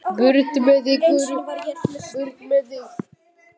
Burt með þig.